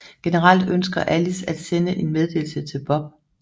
Generelt ønsker Alice at sende en meddelelse til Bob